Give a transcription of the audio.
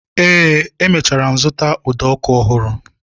Eé, emechara m zụta ụdọ ọkụ ọhụrụ